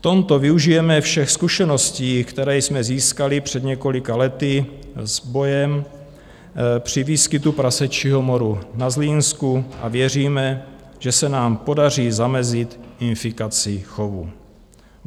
V tomto využijeme všech zkušeností, které jsme získali před několika lety s bojem při výskytu prasečího moru na Zlínsku, a věříme, že se nám podaří zamezit infikaci chovu.